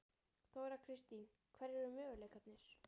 Þóra Kristín: Hverjir eru möguleikarnir?